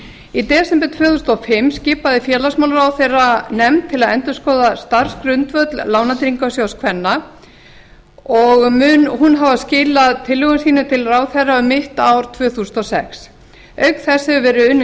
í desember tvö þúsund og fimm skipaði félagsmálaráðherra nefnd til að endurskoða starfsgrundvöll lánatryggingarsjóðs kvenna og mun hún hafa skilað tillögum sínum til ráðherra um mitt ár tvö þúsund og sex auk þess hefur verið unnin